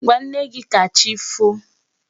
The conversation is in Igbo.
Gwa nne gị ka chi foo!